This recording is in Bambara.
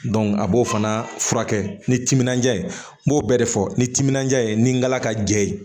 a b'o fana furakɛ ni timinandiya ye n b'o bɛɛ de fɔ ni timinandiya ye nin galaka jɛ ye